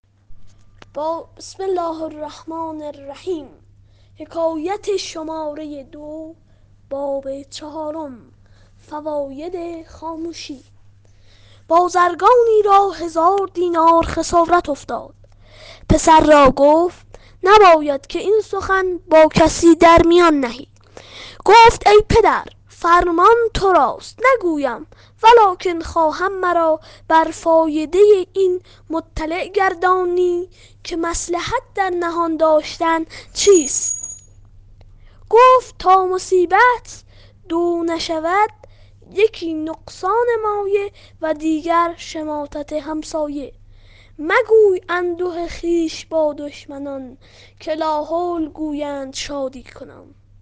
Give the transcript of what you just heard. بازرگانی را هزار دینار خسارت افتاد پسر را گفت نباید که این سخن با کسی در میان نهی گفت ای پدر فرمان تو راست نگویم ولکن خواهم مرا بر فایده این مطلع گردانی که مصلحت در نهان داشتن چیست گفت تا مصیبت دو نشود یکی نقصان مایه و دیگر شماتت همسایه مگوی انده خویش با دشمنان که لاحول گویند شادی کنان